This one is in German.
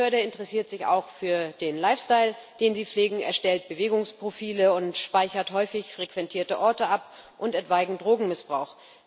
Die Behörde interessiert sich auch für den Lifestyle, den Sie pflegen, erstellt Bewegungsprofile und speichert häufig frequentierte Orte ab und etwaigen Drogenmissbrauch.